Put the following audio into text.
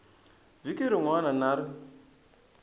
vhiki rin wana na rin